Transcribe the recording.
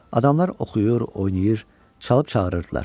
Adamlar oxuyur, oynayır, çalıb çağırırdılar.